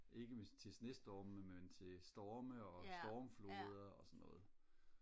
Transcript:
ikke til snestorme men til storme og stormflode og sådan noget